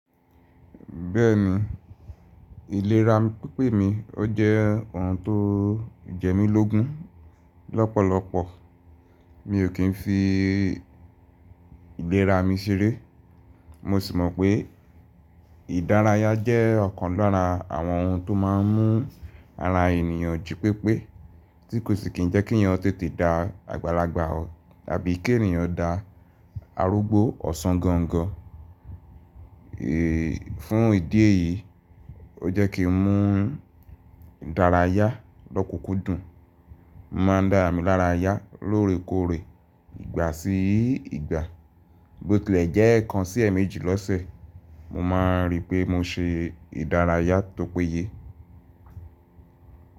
Bẹ́ẹ̀ni, ìlera pípé mi ó jẹ́ ohun tó jẹ mí lógún. Lọ́pọ̀lọpọ̀ mi ò kí ń fi ìlera mi ṣeré. Mo sì mọ̀ pé ìdárayá jẹ́ ọ̀kan lára àwọn ohun tó má ń mú ara ènìyàn jí pépé tí kò sì kí ń jẹ́ kí ènìyàn tètè da àgbàlagbà, tàbí kí ènìyàn da arúgbó ọ̀sán gangan. Fún ìdí èyí, ó jẹ́ kí ń mú ìdárayá lọ́kùkún dùn. Mo má ń dá ara mi lára yá lóorekóore, ìgbà sí ìgbà. Gbótilẹ̀ jẹ́ ẹ̀ẹ̀kan sí ẹ̀ẹ̀mejì lọ́sẹ̀, mo máa ń rí pé mo se ìdárayá tó péye.